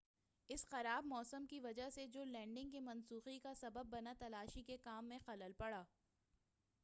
اسی خراب موسم کی وجہ سے جو لینڈنگ کے منسوخی کا سبب بنا تلاشی کے کام میں خلل پڑا